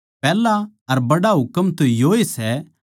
बड्ड़ा अर खास हुकम तो योए सै